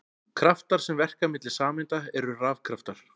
Kraftar sem verka milli sameinda eru rafkraftar.